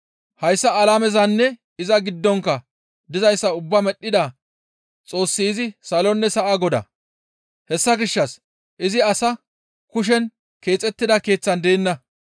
Hayssa alamezanne iza giddonkka dizayssa ubbaa medhdhida Xoossi izi salonne sa7a Godaa; hessa gishshas izi asa kushen keexettida keeththan deenna.